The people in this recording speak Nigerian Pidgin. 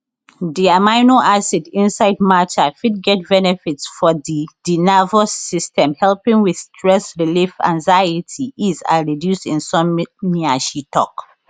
di amino acid inside matcha fit get benefits for di di nervous system helping with stress relief anxiety ease and reduce insomnia she tok